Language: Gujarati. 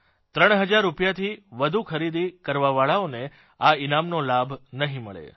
ત્રણ હજાર રૂપીયાથી વધુ ખરીદી કરવાવાળાઓને આ ઇનામનો લાભ નહીં મળે